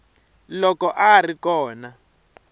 loko a a ri kona